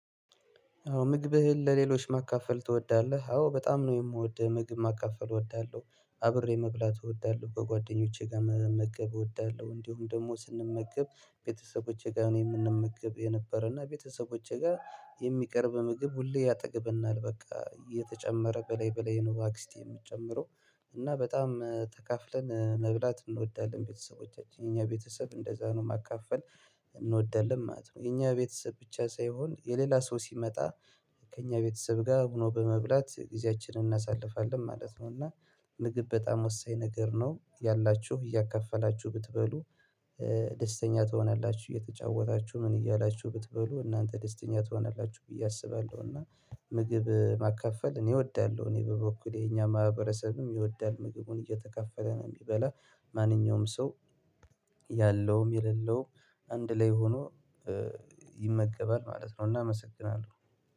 አዎ ምግብህን ለሌሎች ማካፈል ትወዳለህ? አዎ በጣም ነው የምወድው ምግብ ማካፈል እወዳለሁ አብሬ መብላት እወዳለሁ ከጓደኞቼ ጋር መመገብ እወዳለሁ። እንዲሁም ደግሞ ስንመገብ ቤተሰቦቼ ጋር ነው የምንመገብ የነበረና ቤተሰቦቼ ጋር የሚቀርብ ምግብ ሁሌ ያጠግብናል በቃ እየተጨመረ በላይ በላይ ነው አክስቴ የምትጨምረው። እና በጣም ተካፍለን መብላት እንወዳለን ቤተሰቦቻችን የኛ ቤተሰብ እንደዛ ነው ማካፈል እንወዳለን ማለት ነው። የኛ ቤተሰብ ብቻ ሳይሆን የሌላ ሰው ሲመጣ ከእኛ ቤተሰብ ጋር ሆኖ በመብላት ጊዜያችንን እናሳልፋለን ማለት ነው። እና ምግብ በጣም ወሳኝ ነገር ነው። ያላችሁ እያካፈላችሁ ብትበሉ ደስተኛ ትሆናላችሁ እየተጫወታችሁ ምን እያላችሁ ብትበሉ እናንተ ደስተኛ ትሆናላችሁ ብዬ አስባለሁ። እና ምግብ ማካፈል እኔ እወዳለሁ። እኔ በበኩሌ የኛ ማህበረሰብም ይወዳል ምግቡን እየተካፈለ ቢበላ ማንኛውም ሰው ያለውም የሌለውም አንድ ላይ ሆኖ ይመገባል ማለት ነው። እና አመሰግናለ።